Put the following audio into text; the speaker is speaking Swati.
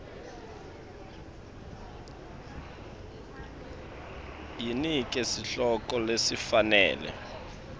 yinike sihloko lesifanele